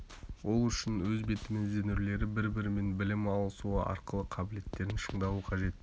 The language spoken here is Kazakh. ол үшін өз бетімен ізденулері бір-бірімен білім алысуы арқылы қабілеттерін шыңдауы қажет